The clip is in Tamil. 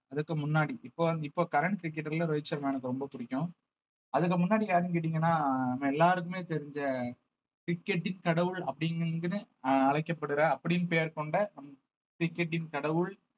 அதுக்கு முன்னாடி இப்போ வந்~ இப்ப current cricketer ல ரோஹித் சர்மா எனக்கு ரொம்ப பிடிக்கும் அதுக்கு முன்னாடி யாருன்னு கேட்டீங்கன்னா நம்ம எல்லாருக்குமே தெரிஞ்ச cricket இன் கடவுள் அப்படின்னு அஹ் அழைக்கப்படுற அப்படின்னு பெயர் கொண்ட cricket இன் கடவுள்